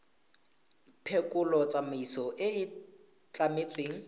phekolo tsamaiso e e tlametsweng